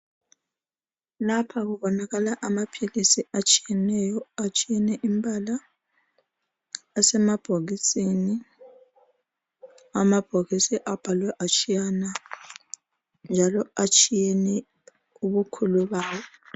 Lapha kubonakala amaphilisi atshiyeneyo atshiyene imbala asemabhokisini amabhokisi njalo abhalwe atshiyana njalo atshiyene ubukhulu bawo .